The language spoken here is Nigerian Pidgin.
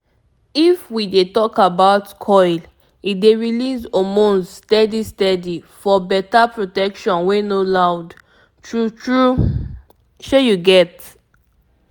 if we dey talk about coil e dey release hormones steady steady for better protection wey no loud-- true true pause small shey u get am